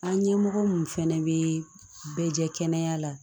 An ɲɛmɔgɔ mun fana bɛ bɛɛ jɛ kɛnɛ la